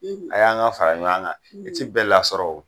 ay'an ka fara ɲɔan kan, i ti bɛɛ lasɔrɔ o.